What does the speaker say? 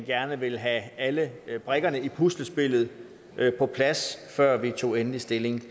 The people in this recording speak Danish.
gerne ville have alle brikkerne i puslespillet på plads før vi tog endelig stilling